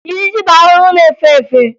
Ijiji bụ ahụhụ na-efe efe